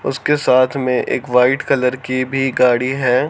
उसके साथ में एक वाइट कलर की भी गाड़ी है।